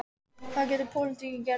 Hvað getur pólitíkin gert?